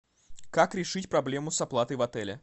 как решить проблему с оплатой в отеле